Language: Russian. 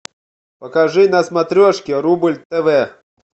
покажи на смотрешке рубль тв